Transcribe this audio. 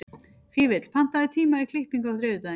Fífill, pantaðu tíma í klippingu á þriðjudaginn.